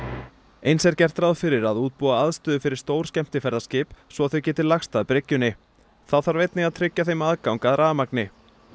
eins er gert ráð fyrir að útbúa aðstöðu fyrir stór skemmtiferðaskip svo þau geti lagst að bryggjunni þá þarf einnig að tryggja þeim aðgang að rafmagni